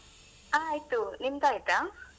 ಆಯ್ತು ನಿಮ್ದ ಆಯ್ತಾ?